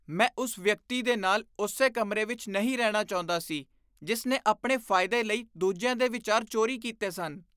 ਮੈਂ ਉਸ ਵਿਅਕਤੀ ਦੇ ਨਾਲ ਉਸੇ ਕਮਰੇ ਵਿੱਚ ਨਹੀਂ ਰਹਿਣਾ ਚਾਹੁੰਦਾ ਸੀ ਜਿਸ ਨੇ ਆਪਣੇ ਫਾਇਦੇ ਲਈ ਦੂਜਿਆਂ ਦੇ ਵਿਚਾਰ ਚੋਰੀ ਕੀਤੇ ਸਨ।